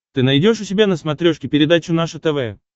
ты найдешь у себя на смотрешке передачу наше тв